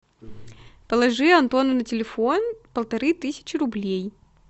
положи антону на телефон полторы тысячи рублей